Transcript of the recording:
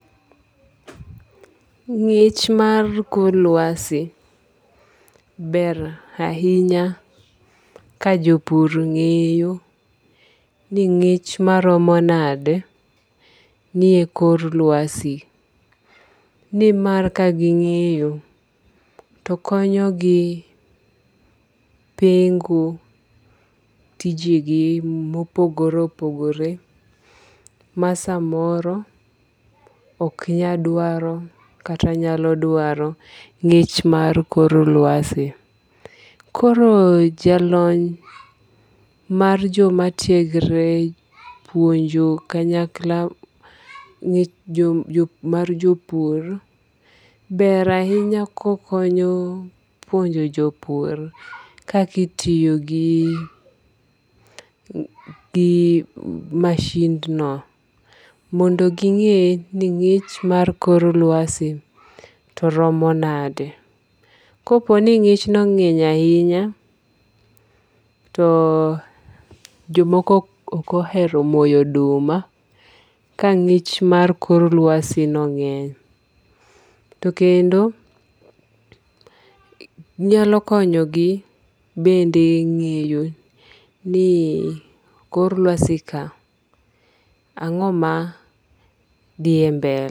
Ngi'ch mar kor lwasi. Ber ahinya ka jopur ng'eyo ni ng'ich maromo nade ni e kor lwasi. Nimar kaging'eyo, to konyogi pengo tijegi mopogore opogore ma samoro ok nyal dwaro kata nyalodwaro ng'ich mar kor lwasi. Koro ja lony mar joma tiegre puonjo kanyakla mar jopur ber ahinya kokonyo puonjo jopur kaka itiyo gi masindno mondo ging'e ni ng'ich mar kor lwasi to romo nade. Kapo ni ng'ich no ng'eny ahinya to jomoko oh ohero moyo oduma ka ng'ich mar kor lwasi no ng'eny. To kendo nyalo konyo gi bende ng'eyo ni kor llwasi ka ang'o ma dhiye mbele.